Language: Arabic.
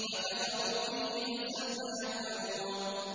فَكَفَرُوا بِهِ ۖ فَسَوْفَ يَعْلَمُونَ